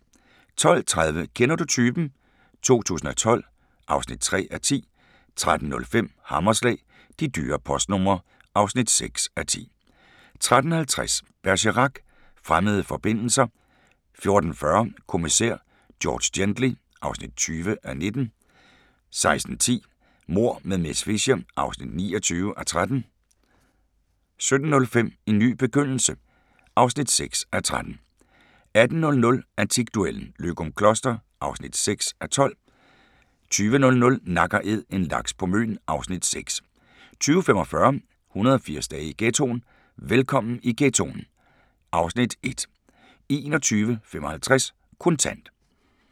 12:30: Kender du typen? 2012 (3:10) 13:05: Hammerslag – De dyre postnumre (6:10) 13:50: Bergerac: Fremmede forbindelser 14:40: Kommissær George Gently (20:19) 16:10: Mord med miss Fisher (29:13) 17:05: En ny begyndelse (6:13) 18:00: Antikduellen - Løgumkloster (6:12) 20:00: Nak & Æd - en laks på Møn (Afs. 6) 20:45: 180 dage i ghettoen: Velkommen i ghettoen (Afs. 1) 21:55: Kontant